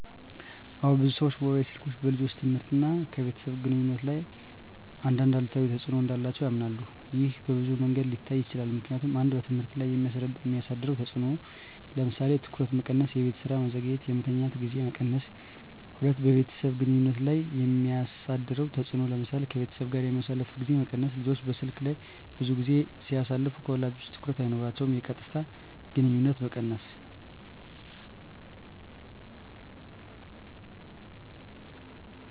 አዎ፣ ብዙ ሰዎች ሞባይል ስልኮች በልጆች ትምህርት እና ከቤተሰብ ግንኙነት ላይ አንዳንድ አሉታዊ ተጽዕኖ እንዳላቸው ያምናሉ። ይህ በብዙ መንገዶች ሊታይ ይችላል፦ ምክንያቱም 1. በትምህርት ላይ የሚያሳድረው ተጽዕኖ ለምሳሌ:- ትኩረት መቀነስ -የቤት ስራ መዘግየት -የመተኛት ጊዜ መቀነስ 2. በቤተሰብ ግንኙነት ላይ የሚያሳድረው ተጽዕኖ ለምሳሌ :-ከቤተሰብ ጋር የሚያሳልፉት ጊዜ መቀነስ – ልጆች በስልክ ላይ ብዙ ጊዜ ሲያሳልፉ ከወላጆቻ ትኩረት አይኖራቸውም። -የቀጥታ ግንኙነት መቀነስ